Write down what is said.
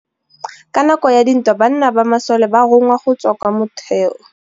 Ka nakô ya dintwa banna ba masole ba rongwa go tswa kwa mothêô.